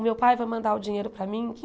O meu pai vai mandar o dinheiro para mim em